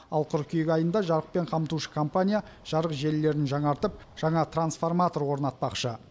ал қыркүйек айында жарықпен қамтушы компания жарық желілерін жаңартып жаңа трансформатор орнатпақшы